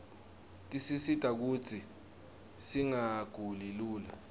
tisisita kutsi singaguli lula